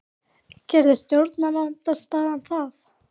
Gerði stjórnarandstaðan það?